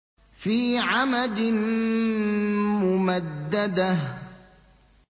فِي عَمَدٍ مُّمَدَّدَةٍ